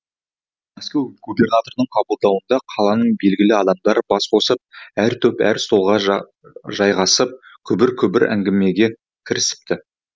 мәскеу губернаторының қабылдауында қаланың белгілі адамдары бас қосып әр топ әр столға жайғасып күбір күбір әңгімеге кірісіпті